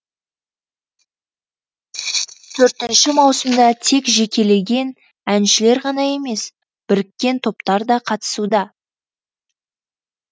төртінші маусымда тек жекелеген әншілер ғана емес біріккен топтар да қатысуда